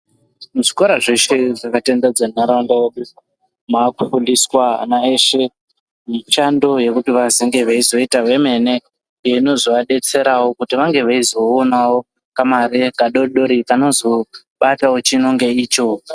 Muzvikora zveshe zvakatenderedza nharaunda yedu makufundiswa ana eshe mishando yekuti vazenge veizoita vemene iyo inonga inozovadetserawo kuti vange veizoonawo kamare kadodori kanozobatawo chino ngeicho.